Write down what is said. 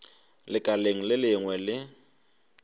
lekaleng le lengwe le le